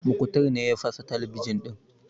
Muktar ne ya fasa talabijin ɗin